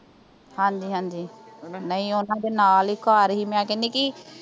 ਹਾਂਜੀ ਹਾਂਜੀ ਹਣਾ ਨਹੀਂ ਓਹਨਾਂ ਦੇ ਨਾਲ ਹੀ ਘਰ ਸੀ ਮੈਂ ਕਹਿਨੀ ਕੀ